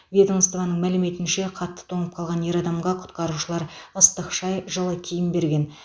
ведомствоның мәліметінше қатты тоңып қалған ер адамға құтқарушылар ыстық шай жылы киім берген